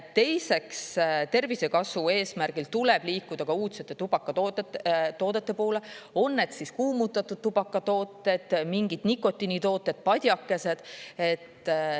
Teiseks, tervisekasu eesmärgil tuleb liikuda ka uudsete tubakatoodete toodete poole – on need siis kuumutatud tubakatooted, mingid nikotiinitooted, padjakesed.